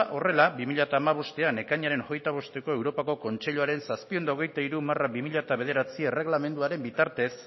horrela bi mila hamabostean ekainaren hogeita bosteko europako kontseiluaren zazpiehun eta hogeita hiru barra bi mila bederatzi erregelamenduaren bitartez